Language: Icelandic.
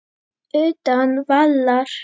Utan vallar.